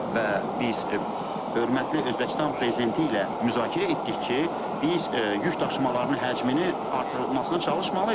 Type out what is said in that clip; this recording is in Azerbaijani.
Və biz hörmətli Özbəkistan prezidenti ilə müzakirə etdik ki, biz yükdaşımalarının həcmini artırmasına çalışmalıyıq.